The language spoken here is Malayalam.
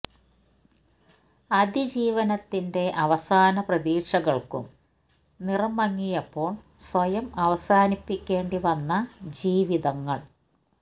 അതിജീവനത്തിന്റെ അവസാന പ്രതീക്ഷകള്ക്കും നിറം മങ്ങിയപ്പോള് സ്വയം അവസാനിപ്പിക്കേണ്ടി വന്ന ജീവിതങ്ങൾ